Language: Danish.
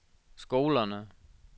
skolerne